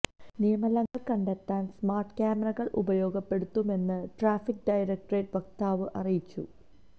നിയമലംഘനങ്ങള് കണ്ടെത്താന് സ്മാര്ട് കാമറകള് ഉപയോഗപ്പെടുത്തുമെന്നും ട്രാഫിക് ഡയറക്ടറേറ്റ് വക്താവ് അറിയിച്ചു